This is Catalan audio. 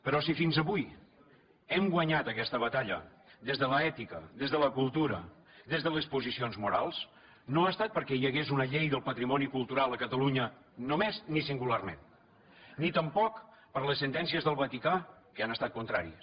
però si fins avui hem guanyat aquesta batalla des de l’ètica des de la cultura des de les posicions morals no ha estat perquè hi hagués una llei del patrimoni cultural a catalunya només ni singularment ni tampoc per les sentències del vaticà que hi han estat contràries